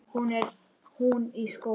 Hún í skóla.